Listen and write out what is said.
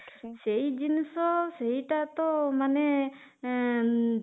ସେଇ ଜିନିଷ ସେଇଟା ତ ମାନେ ଏଂ